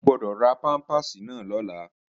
O gbọ́dọ̀ ra pámpàsì náà lọ́la!